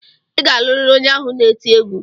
Ị ga-alụrịrị onye ahụ na-eti egwu!